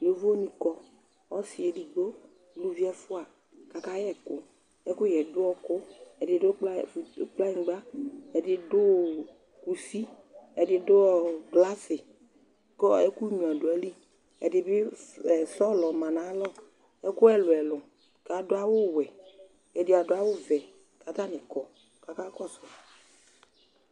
Yovonɩ kɔ, ɔsɩ edigbo, uluvi ɛfʋa kʋ akayɛ ɛkʋ Ɛkʋyɛ yɛ dʋ ɔɣɔkɔ, ɛdɩ dʋ kpla kplanyɩgba, ɛdɩ dʋ kusi, ɛdɩ dʋ ɔ glasɩ kʋ ɛkʋnyuǝ dʋ ayili Ɛdɩ bɩ s ɛ sɔlɔ ma nʋ ayalɔ Ɛkʋ ɛlʋ-ɛlʋ kʋ adʋ awʋwɛ kʋ ɛdɩ adʋ awʋvɛ kʋ atanɩ kɔ kʋ akakɔsʋ